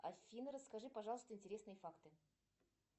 афина расскажи пожалуйста интересные факты